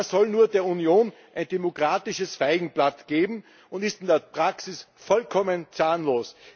Er soll nur der Union ein demokratisches Feigenblatt geben und ist in der Praxis vollkommen zahnlos.